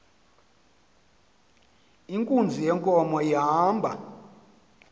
inkunzi yenkomo ihamba